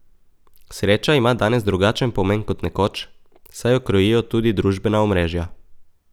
Sreča ima danes drugačen pomen kot nekoč, saj jo krojijo tudi družbena omrežja.